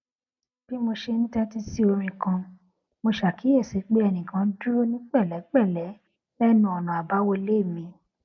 bí mo ṣe ń tétí sí orin kan mo ṣàkíyèsí pé ẹnìkan dúró ní pèlépèlé lénu ònà àbáwọlé mi